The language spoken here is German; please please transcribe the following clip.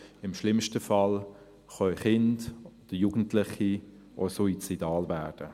Im schlimmsten Fall können Kinder und Jugendliche auch suizidal werden.